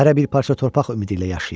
Hərə bir parça torpaq ümidi ilə yaşayır.